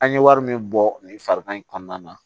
An ye wari min bɔ nin farikan in kɔnɔna na